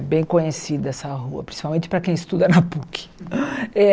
É bem conhecida essa rua, principalmente para quem estuda na Puc. Eh